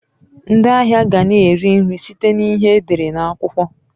Ndị ahịa ga na eri nri site na ihe e dere na akwukwo.